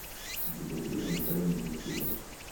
екатерина витальевна закирова